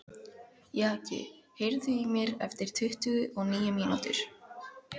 Jaki, heyrðu í mér eftir tuttugu og níu mínútur.